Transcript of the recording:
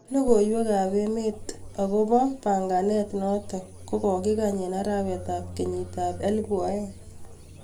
Logoiwek ab emet agob akomi panganan natong kogogingany en arawetab kenyit ab elbu aeng